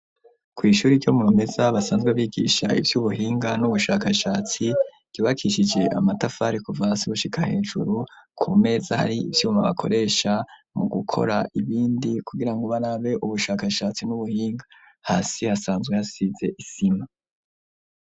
Kw'ishuri ryo mu meza basanzwe bigisha ivyo ubuhinga n'ubushakashatsi ribakishije amatafari kuva siushika hejuru ku meza hari ivyuma bakoresha mu gukora ibindi kugira ngo ubarabe ubushakashatsi n'ubuhinga hasi hasanzwe hasize isima.